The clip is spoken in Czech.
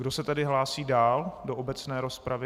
Kdo se tedy hlásí dál do obecné rozpravy?